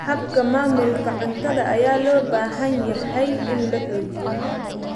Habka maamulka cuntada ayaa loo baahan yahay in la xoojiyo.